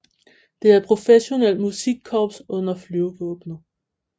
Det er et professionelt musikkorps under Flyvevåbnet